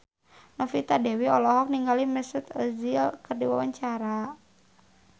Novita Dewi olohok ningali Mesut Ozil keur diwawancara